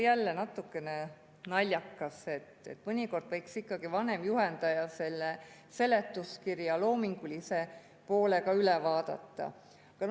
Jälle natukene naljakas, mõnikord võiks ikkagi vanem juhendaja selle seletuskirja loomingulise poole pealt üle vaadata.